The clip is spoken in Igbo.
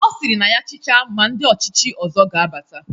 Ọ sịrị na ya chịcha ma ndi ọchịchị ọzọ ga-abata.